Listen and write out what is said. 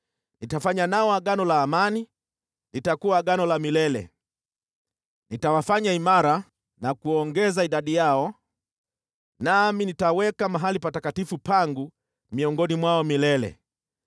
Nitafanya nao Agano la amani, litakuwa Agano la milele. Nitawafanya imara na kuongeza idadi yao, nami nitaweka mahali patakatifu pangu miongoni mwao milele.